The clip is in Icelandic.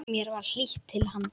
Mér var hlýtt til hans.